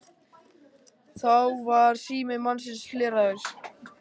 Þá var sími mannsins hleraður